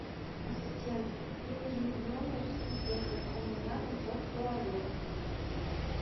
ассистент мне нужен в номер сантехник у меня потек туалет